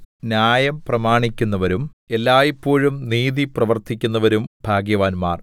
ന്യായം പ്രമാണിക്കുന്നവരും എല്ലായ്പോഴും നീതി പ്രവർത്തിക്കുന്നവരും ഭാഗ്യവാന്മാർ